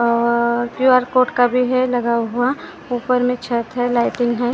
QR code का भी है लगा हुआ ऊपर मे छत है लाइटिंग है ।